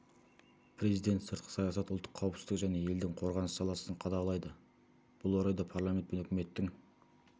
президент сыртқы саясат ұлттық қауіпсіздік және елдің қорғаныс саласын қадағалайды бұл орайда парламент пен үкіметтің